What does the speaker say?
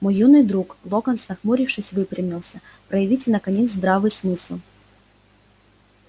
мой юный друг локонс нахмурившись выпрямился проявите наконец здравый смысл